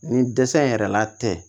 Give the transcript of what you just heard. Nin dɛsɛ in yɛrɛ la tɛ